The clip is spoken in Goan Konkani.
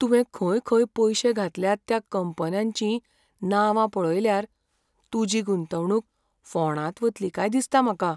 तुवें खंय खंय पयशे घातल्यात त्या कंपन्यांचीं नांवां पळयल्यार, तुजी गुंतवणूक फोंडांत वतली काय दिसता म्हाका.